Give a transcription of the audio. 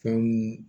Fɛn mun